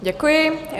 Děkuji.